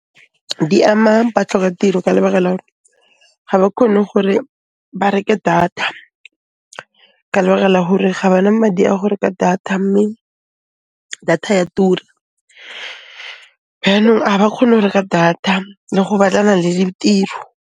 Di ama batlhoka-tiro ka lebaka la 'ore ga ba khone gore ba reke data ka lebaka la hore ga ba na madi a go reka data mme data ya tura byanong a ba kgone 'o reka data le go batlana le ditiro.